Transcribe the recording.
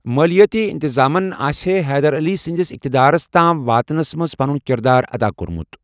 مٲلِیٲتی انتظامن آسِہے حیدر علی سٕنٛدس اقتدارس تام واتنس منز پنٖن کِردار ادا کوٚرمُت۔